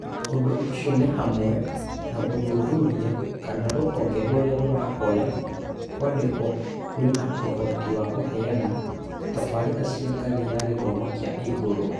Ũndũ ũcio nĩ hamwe na gũthuthuria kana rũhonge rũrĩa rũrahoya kwandĩkwo rwĩna ũhoti wa kũheana tabarĩra cia ngathĩ ya gĩthomo kĩa igũrũ.